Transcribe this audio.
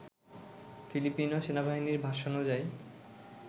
Filipino সেনাবাহিনীর ভাষ্যানুযায়ী